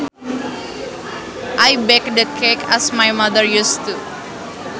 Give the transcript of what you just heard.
I baked the cake as my mother used to